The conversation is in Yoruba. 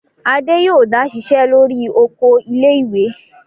Adé yóò dá ṣiṣẹ́ lórí oko ilé-ìwé!